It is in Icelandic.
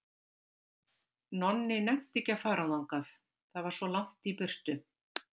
Nonni nennti ekki að fara þangað, það var svo langt í burtu.